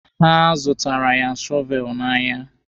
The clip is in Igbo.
Ha zụtaara ya shọveelụ n'ahịa.